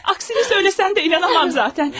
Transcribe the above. Əksini söyləsən də, inana bilmərəm zatən.